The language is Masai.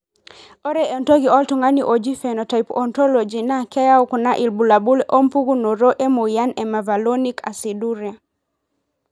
ore entoki oltungani ojii Phenotype Ontology na keyau kuna ilbulabul opukunoto emoyian mevalonic aciduria.